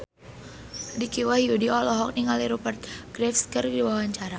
Dicky Wahyudi olohok ningali Rupert Graves keur diwawancara